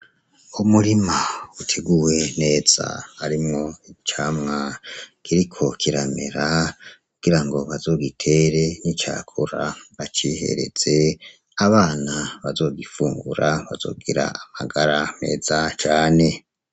Umurima uteguwe neza harimwo icamwa kiriko kiramera kugira ngo bazogitere nicakura bacihereze. Abana bazogifungura bazogira amagara meza cane.